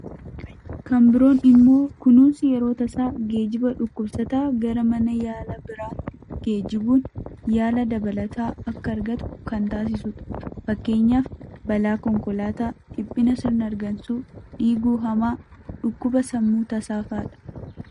Kan biroon immoo kunuunsi yeroo tasaa geejjiba dhukkubsataa gara mana yaalaa biraa geejjibuun yaala dabalataa akka argatu kan taasisudha. Fakkeenyaaf, balaa konkolaataa, dhiphina sirna hargansuu, dhiiguu hamaa, dhukkuba sammuu tasaa fa'adha.